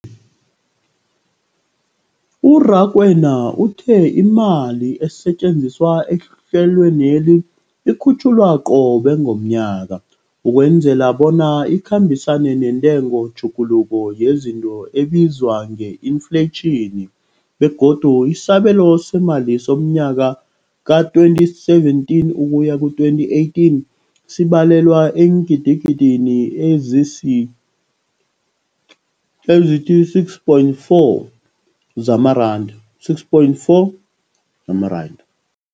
U-Rakwena uthe imali esetjenziswa ehlelweneli ikhutjhulwa qobe ngomnyaka ukwenzela bona ikhambisane nentengotjhuguluko yezinto ebizwa nge-infleyitjhini, begodu isabelo seemali somnyaka we-2017 ukuya ku-2018 sibalelwa eengidigidini ezisi-6.4 zamaranda.